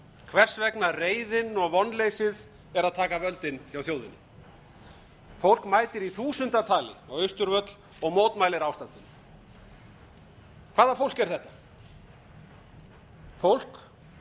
hvers vegna reiðin og vonleysið er að taka völdin hjá þjóðinni fólk mætir í þúsundatali á austurvöll og mótmælir ástandinu hvaða fólk er þetta fólk